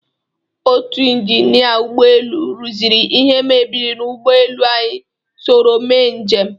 Otu injinịa ụgbọelu rụziri ihe mebiri n'ugbọelu anyị soro mee njem.